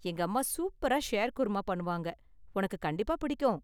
எங்கம்மா சூப்பரா ஷேர்குர்மா பண்ணுவாங்க, உனக்கு கண்டிப்பா பிடிக்கும்.